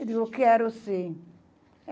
Eu digo quero sim.